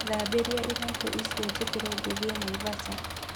Thambĩria iratu icio njĩkĩre ngĩthiĩ Naivasha